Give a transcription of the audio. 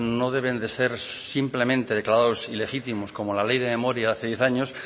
no deben de ser simplemente declarados ilegítimos como la ley de memoria de hace diez años